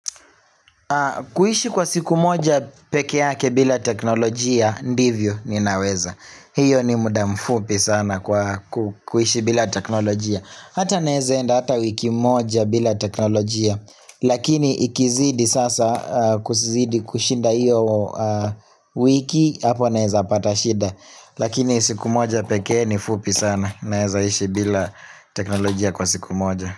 Kuhishi kwa siku moja peke yake bila teknolojia ndivyo ninaweza. Hiyo ni muda mfupi sana kwa ku kuhishi bila teknolojia. Hata naezaenda hata wiki moja bila teknolojia. Lakini ikizidi sasa kuzidi kushinda hiyo wiki hapo naezapata shida. Lakini siku moja pekee ni fupi sana naezaishi bila teknolojia kwa siku moja.